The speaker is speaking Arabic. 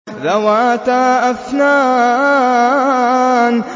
ذَوَاتَا أَفْنَانٍ